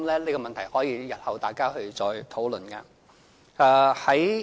這問題日後大家可以再討論。